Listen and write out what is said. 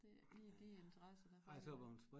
Det ikke lige de interesser der fanger dem